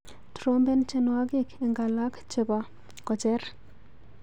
Trompen tyenwogik eng alak chebo ko-cher.